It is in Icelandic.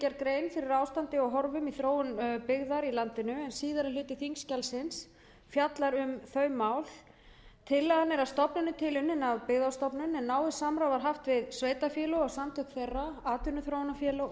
grein fyrir ástandi og horfum í þróun byggðar í landinu en síðari hluti þingskjalsins fjallar um þau mál tillagan er að stofni til unnin af byggðastofnun en náið samráð var haft við sveitarfélög og samtök þeirra atvinnuþróunarfélög og